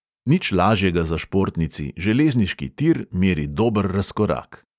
Nič lažjega za športnici, železniški tir meri dober razkorak.